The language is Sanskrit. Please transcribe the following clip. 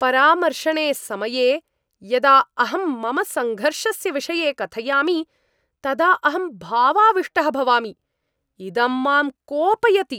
परामर्शने समये यदा अहं मम सङ्घर्षस्य विषये कथयामि तदा अहं भावाविष्टः भवामि। इदं मां कोपयति।